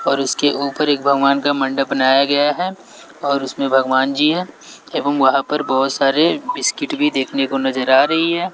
और उसके ऊपर एक भगवान का मंडप बनाया गया है और उसमें भगवान जी हैं एवं वहां पे बहोत सारे बिस्किट भी देखने को नजर आ रही हैं।